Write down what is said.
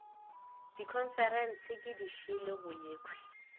dikhonferense ke dišele go yekhwi